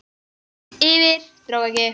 Yfir- dró ekki!